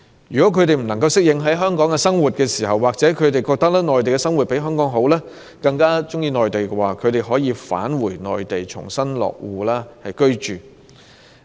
如他們不能適應香港的生活，又或認為在內地的生活較好，更喜歡在內地生活，便可以返回內地重新落戶居住。